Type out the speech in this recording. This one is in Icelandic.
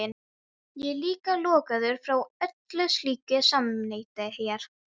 Ég er líka lokaður frá öllu slíku samneyti hér.